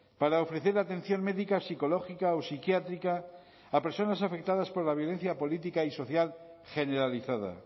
para ofrecer atención médica psicológica o psiquiátrica a personas afectadas por la violencia política y social generalizada